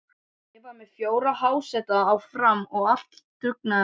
Ég var með fjóra háseta á Fram, allt dugnaðarmenn.